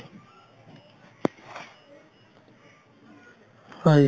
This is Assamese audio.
হয়